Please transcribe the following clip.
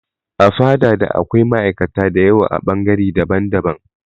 A fada da akwai ma'aikata da yawa a bangare daban daban